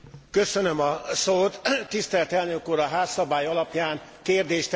Tisztelt Elnök úr, a házszabály alapján kérdést tehetek föl fél percben.